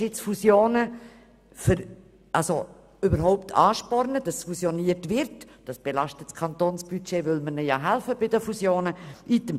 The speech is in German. Diese würden aber das Kantonsbudget belasten, weil der Kanton sie dabei unterstützt.